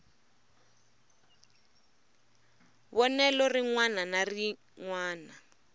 vonelo rin wana na rin